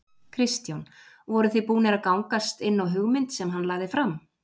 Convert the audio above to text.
Kristján: Voruð þið tilbúnir að gangast inn á hugmynd sem hann lagði fram?